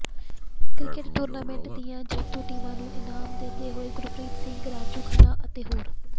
cricket tournament ਦੀਆ ਜੇਤੂ ਟੀਮਾਂ ਨੂੰ ਇਨਾਮ ਦਿੰਦੇ ਹੋਏ ਗੁਰਪ੍ਰੀਤ ਸਿੰਘ ਰਾਜੂ ਖੰਨਾ ਅਤੇ ਹੋਰ